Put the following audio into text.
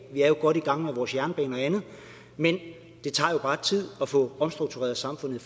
vi er jo godt i gang med vores jernbaner og andet men det tager jo bare tid at få omstruktureret samfundet